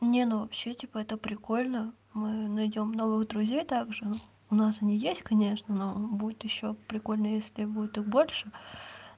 не ну вообще типа это прикольно мы найдём новых друзей также у нас они есть конечно но будет ещё прикольно если будет их больше